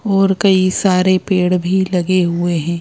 और कई सारे पेड़ भी लगे हुए हैं।